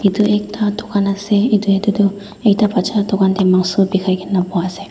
itu ekta dukan ase ite ite tuh ekta bacha dukan teh mangso bikai kena duha ase.